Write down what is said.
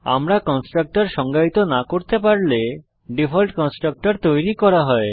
আমরা কনস্ট্রাক্টর সংজ্ঞায়িত না করতে পারলে ডিফল্ট কনস্ট্রাক্টর তৈরী করা হয়